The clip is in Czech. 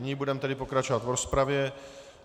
Nyní budeme tedy pokračovat v rozpravě.